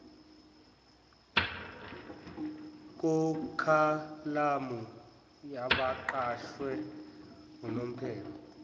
kukhalamu yabaqashwe unomphelo